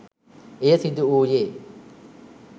එය සිදුවුයේ